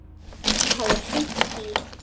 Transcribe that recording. Hún hafði hringt í